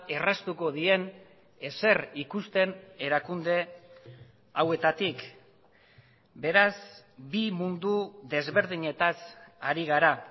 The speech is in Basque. erraztuko dien ezer ikusten erakunde hauetatik beraz bi mundu desberdinetaz ari gara